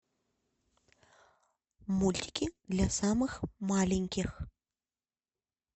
мультики для самых маленьких